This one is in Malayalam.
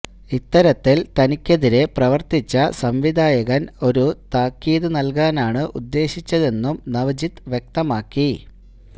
ഇത്തരത്തില് തനിക്കെതിരെ പ്രവര്ത്തിച്ച സംവിധായകന് ഒരു താക്കീത് നല്കാനാണ് ഉദ്ദേശിച്ചതെന്നും നവജിത്ത് വ്യക്തമാക്കി